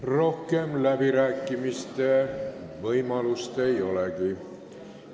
Rohkem läbirääkimiste võimalust ei olegi.